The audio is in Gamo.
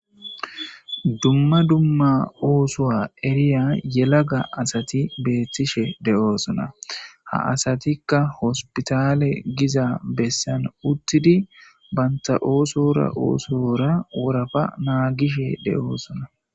Dumma dumma oosuwa eriya yelaga asati beetishe de'osonna; ha asatikka hospitale giza bessan uttidi banta oosora oosora worapa naagishe de'osonna.